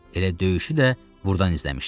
Elə döyüşü də burdan izləmişdi.